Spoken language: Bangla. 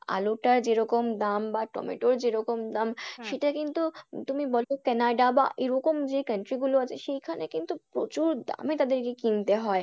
আলুটা যেরকম দাম বা টমেটোর যেরকম দাম কিন্তু তুমি বলত কানাডা বা এরকম যে country গুলো আছে সেইখানে কিন্তু প্রচুর দামে তাদেরকে কিনতে হয়।